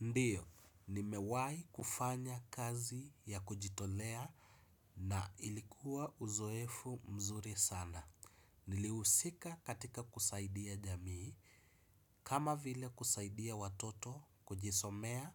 Ndiyo, nimewahi kufanya kazi ya kujitolea na ilikuwa uzoefu mzuri sana. Nilihusika katika kusaidia jamii, kama vile kusaidia watoto kujisomea,